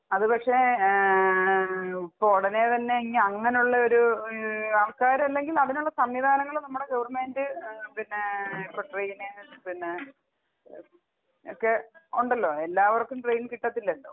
അത് പക്ഷെ ഏഹ് ഇപ്പൊ ഉടനെ തന്നെ ഇനി അങ്ങനെ ഉള്ള ഒരു ഏഹ് ആൾക്കാര് അല്ലെങ്കിൽ അതിനുള്ള സംവിധാനങ്ങള് നമ്മുടെ ഗവർമെന്റ് പിന്നെ ഇപ്പൊ ട്രെയിന് പിന്നെ ഒക്കെ ഉണ്ടല്ലോ എല്ലാവർക്കും ട്രെയിൻ കിട്ടത്തില്ലല്ലോ.